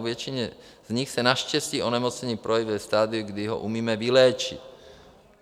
U většiny z nich se naštěstí onemocnění projeví ve stadiu, kdy ho umíme vyléčit.